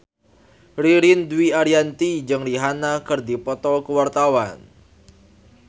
Ririn Dwi Ariyanti jeung Rihanna keur dipoto ku wartawan